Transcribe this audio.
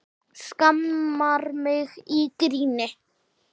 Skammar mig í gríni.